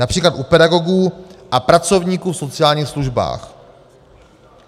Například u pedagogů a pracovníků v sociálních službách.